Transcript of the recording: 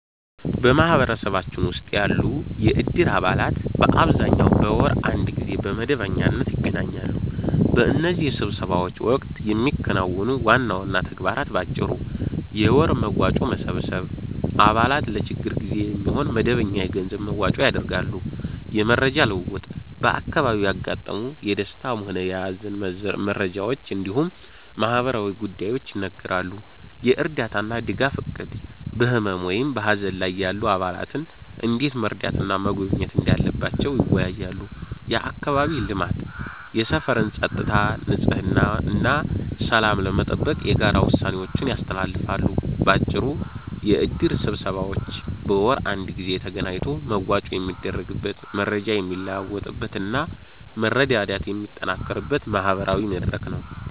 በማህበረሰባችን ውስጥ ያሉ የእድር አባላት በአብዛኛው በወር አንድ ጊዜ በመደበኛነት ይገናኛሉ። በእነዚህ ስብሰባዎች ወቅት የሚከናወኑ ዋና ዋና ተግባራት በአጭሩ፦ የወር መዋጮ መሰብሰብ፦ አባላት ለችግር ጊዜ የሚሆን መደበኛ የገንዘብ መዋጮ ያደርጋሉ። የመረጃ ልውውጥ፦ በአካባቢው ያጋጠሙ የደስታም ሆነ የሃዘን መረጃዎች እንዲሁም ማህበራዊ ጉዳዮች ይነገራሉ። የእርዳታና ድጋፍ እቅድ፦ በህመም ወይም በሃዘን ላይ ያሉ አባላትን እንዴት መርዳትና መጎብኘት እንዳለባቸው ይወያያሉ። የአካባቢ ልማት፦ የሰፈርን ፀጥታ፣ ንጽህና እና ሰላም ለመጠበቅ የጋራ ውሳኔዎችን ያስተላልፋሉ። ባጭሩ፤ የእድር ስብሰባዎች በወር አንድ ጊዜ ተገናኝቶ መዋጮ የሚደረግበት፣ መረጃ የሚለዋወጥበት እና መረዳዳት የሚጠናከርበት ማህበራዊ መድረክ ነው።